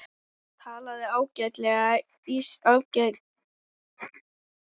Hann talaði ágæta íslensku og hélt uppi kurteisishjali.